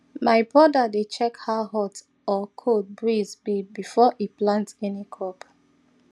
my brother dey check how hot or cold breeze be before e plant any crop